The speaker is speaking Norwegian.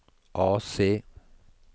AC